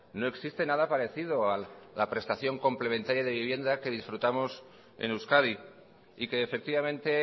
no existe nada parecido a la prestación complementaria de vivienda que disfrutamos en euskadi y que efectivamente